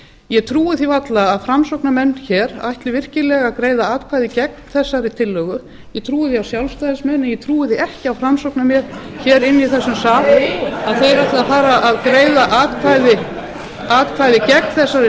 ég trúi því varla að framsóknarmenn hér ætli virkilega að greiða atkvæði gegn þessari tillögu ég trúi því á sjálfstæðismenn en ég trúi því ekki á framsóknarmenn hér inni í þessum sal að þeir ætli að fara að greiða atkvæði gegn þessari